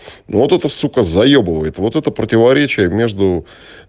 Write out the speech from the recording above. вот это сука заебывает вот это противоречие между